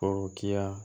Forokiya